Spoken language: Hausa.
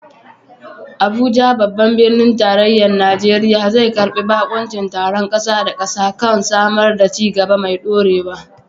Abuja, babban birnin tarayyar Najeriya, zai karbi bakuncin taron kasa da kasa kan samar da ci gaba mai ɗorewa.